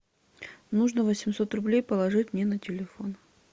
нужно восемьсот рублей положить мне на телефон